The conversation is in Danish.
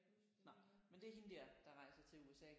Nej men det er hende der der rejser til USA